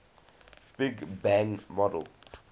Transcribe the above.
big bang model